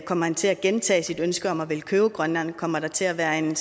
kommer han til at gentage sit ønske om at ville købe grønland kommer der til at være en